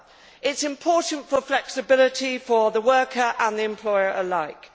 It is important for flexibility, for the worker and the employer alike.